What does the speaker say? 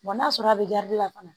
n'a sɔrɔ a bɛ la fana